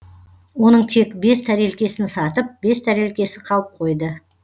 оның тек бес тәрелкесін сатып бес тәрелкесі қалып қойды